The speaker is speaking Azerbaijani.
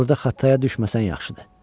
Burda Xattaya düşməsən yaxşıdır.